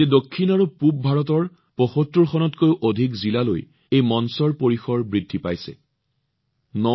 বৰ্তমান দক্ষিণ আৰু পূবভাৰতৰ ৭৫ খনতকৈও অধিক জিলাত এই প্লেটফৰ্ম বিদ্যমান